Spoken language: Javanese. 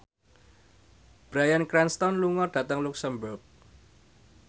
Bryan Cranston lunga dhateng luxemburg